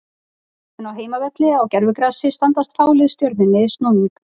En á heimavelli á gervigrasi standast fá lið Stjörnunni snúning.